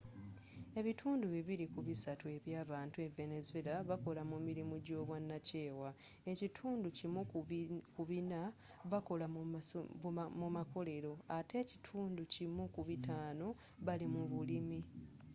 ebitundu bibili ku bisatu eby'abantu e venezuela bakola mu mirimu gy'obwanakyewa ekitundu kimu ku bina bakola mu makolero ate ekitundu kimu ku bitano bali mu bulimi